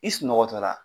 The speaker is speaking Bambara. I sunɔgɔ tɔ la